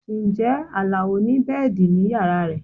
Ǹjẹ́ Alao ni bẹ́ẹ̀dì ní yàrá rẹ̀?